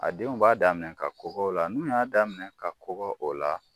A denw b'a daminɛ ka kɔgɔ o la n'u y'a daminɛ ka kɔgɔ o la.